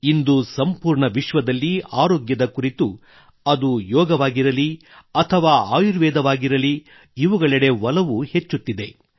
ಇಂದು ಸಂಪೂರ್ಣ ವಿಶ್ವದಲ್ಲಿ ಆರೋಗ್ಯದ ಕುರಿತು ಅದು ಯೋಗವಾಗಿರಲಿ ಅಥವಾ ಆಯುರ್ವೇದವಾಗಿರಲಿ ಇವುಗಳೆಡೆ ಒಲವು ಹೆಚ್ಚುತ್ತಿದೆ